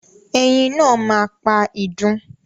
Ẹyin náà ma pa idun.